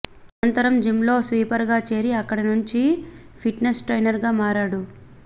అనంతరం జిమ్లో స్వీపర్గా చేరి అక్కడ నుంచి ఫిట్నెస్ ట్రైయినర్గా మారాడు